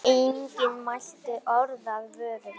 Enginn mælti orð af vörum.